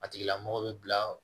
A tigila mɔgɔ bɛ bila